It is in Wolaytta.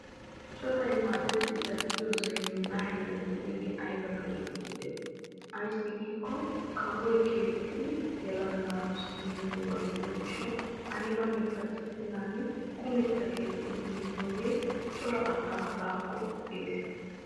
coray maadetti zal'iyosay nuugaa heeran de'iyagee ayiba lo'ees giideti! ayissi giikko kawoy keexxidi yelaga naatussi immidoogaa gidiyo gishshawu ayibanne pacissennan kumetta keexxi immidooge cora asaa baakko xeeses.